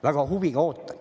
Väga huviga ootan.